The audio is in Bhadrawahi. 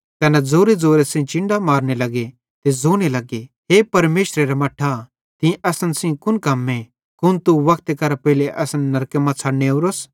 तैना ज़ोरेज़ोरे चिन्डां मारने लग्गे ते ज़ोने लग्गे हे परमेशरेरा मट्ठां तीं असन सेइं कुन कम्मे कुन तू वक्ते करां पेइले असन नरके मां छ़डने ओरोस